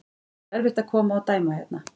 Það er erfitt að koma og dæma hérna.